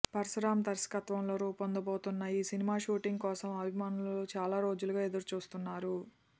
పరశురామ్ దర్శకత్వంలో రూపొందబోతున్న ఈ సినిమా షూటింగ్ కోసం అభిమానులు చాలా రోజులుగా ఎదురు చూస్తున్నారు